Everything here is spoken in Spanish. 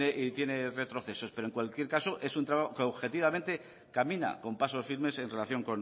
y tiene retrocesos pero en cualquier caso es un entramado que objetivamente camina con pasos firmes en relación